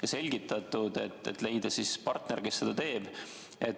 On selgitatud, et raske on olnud leida partnerit, kes seda teeb.